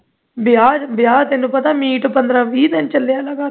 ਵਿਆਹ ਵਿਆਹ ਤੇ ਤੈਨੂੰ ਪਤਾ ਪੰਦਰਾਂ ਵੀਹ ਦਿਨ ਚੱਲੇ ਆਂ ਲਗਾਤਾਰ